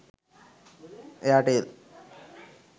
airtel